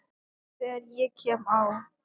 Þegar ég kem á